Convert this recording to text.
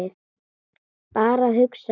Bara að hugsa.